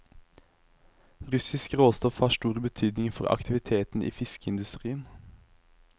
Russisk råstoff har stor betydning for aktiviteten i fiskeindustrien.